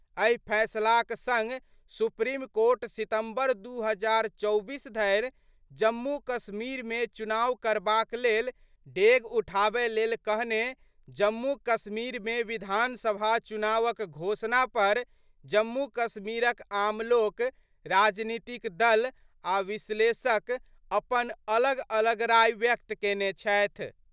एहि फैसलाक संग सुप्रीम कोर्ट सितम्बर 2024 धरि जम्मू-कश्मीर मे चुनाव करबाक लेल डेग उठाबय लेल कहने जम्मू-कश्मीर मे विधानसभा चुनावक घोषणा पर जम्मू-कश्मीरक आम लोक, राजनीतिक दल आ विश्लेषक अपन अलग-अलग राय व्यक्त केने छथि।